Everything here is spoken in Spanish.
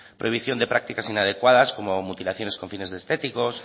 prohibición de prácticas inadecuadas como mutilaciones con fines estéticos